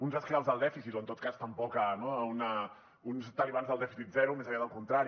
uns esclaus del dèficit o en tot cas tampoc no uns talibans del dèficit zero més aviat al contrari